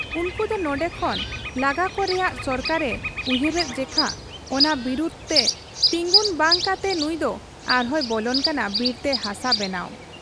ᱩᱱᱠᱩ ᱫᱚ ᱱᱚᱱᱰᱮ ᱠᱷᱚᱱ ᱞᱟᱜᱟᱠᱚ ᱨᱮᱭᱟᱜ ᱥᱚᱨᱠᱟᱨ ᱮ ᱩᱭᱦᱟᱹᱨᱮᱫ ᱡᱮᱠᱷᱟ ᱚᱱᱟ ᱵᱤᱨᱟᱹᱫᱽ ᱛᱮ ᱛᱤᱸᱜᱩᱱ ᱵᱟᱝ ᱠᱟᱛᱮ ᱱᱩᱭᱫᱚ ᱟᱨᱦᱚᱸᱭ ᱵᱚᱞᱚᱱ ᱠᱟᱱᱟ ᱵᱤᱨᱛᱮ ᱦᱟᱥᱟ ᱵᱮᱱᱟᱶ ᱾